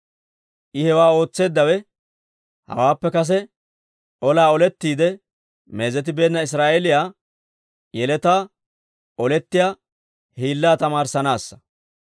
I hewaa ootseeddawe, hawaappe kase olaa olettiide meezetibeenna Israa'eeliyaa yeletaa olettiyaa hiillaa tamaarissanaassa.